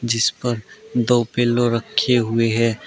जिस पर दो पिल्लो रखे हुई हैं।